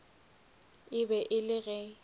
e be e le ge